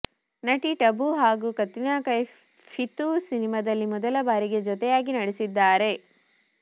ನಟಿ ಟಬು ಹಾಗೂ ಕತ್ರೀನಾ ಕೈಫ್ ಫಿತೂರ್ ಸಿನಿಮಾದಲ್ಲಿ ಮೊದಲ ಬಾರಿಗೆ ಜೊತೆಯಾಗಿ ನಟಿಸಿದ್ದಾರೆ